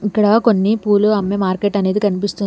ఇక్కడ కొన్ని పూలు అమ్మే మార్కెట్ అనేది కనిపిస్తుంది.